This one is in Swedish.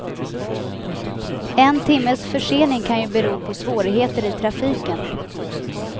En timmes försening kan ju bero på svårigheter i trafiken.